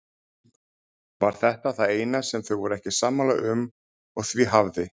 Var þetta það eina sem þau voru ekki sammála um og því hafði